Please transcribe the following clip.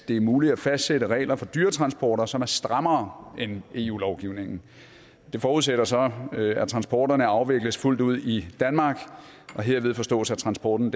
det er muligt at fastsætte regler for dyretransporter som er strammere end eu lovgivningen det forudsætter så at transporterne afvikles fuldt ud i danmark og herved forstås at transporten